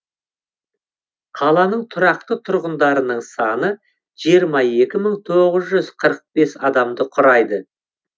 қаланың тұрақты тұрғындарының саны жиырма екі мың тоғыз жүз қырық бес адамды құрайды